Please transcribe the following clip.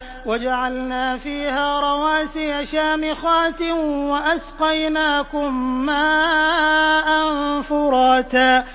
وَجَعَلْنَا فِيهَا رَوَاسِيَ شَامِخَاتٍ وَأَسْقَيْنَاكُم مَّاءً فُرَاتًا